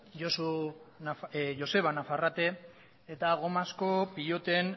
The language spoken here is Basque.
joseba nafarrete eta gomazko piloten